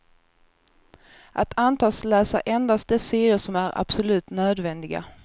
Att antas läsa endast de sidor som är absolut nödvändiga.